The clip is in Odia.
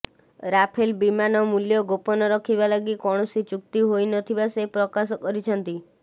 ରାଫେଲ ବିମାନ ମୂଲ୍ୟ ଗୋପନ ରଖିବା ଲାଗି କୌଣସି ଚୁକ୍ତି ହୋଇ ନ ଥିବା ସେ ପ୍ରକାଶ କରିଛନ୍ତି